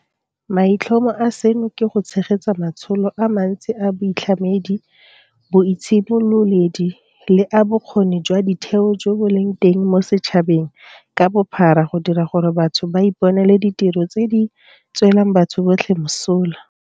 Maitlhomo a seno ke go tshegetsa matsholo a mantsi a boitlhamedi, boitshimololedi le a bokgoni jwa ditheo jo bo leng teng mo setšhabeng ka bophara go dira gore batho ba iponele ditiro tse di tswelang batho botlhe mosola.